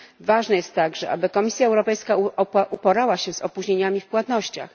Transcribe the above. Ważne jest także, aby Komisja Europejska uporała się z opóźnieniami w płatnościach.